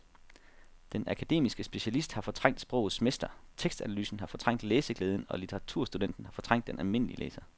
Den akademiske specialist har fortrængt sprogets mester, tekstanalysen har fortrængt læseglæden og litteraturstudenten har fortrængt den almindelige læser.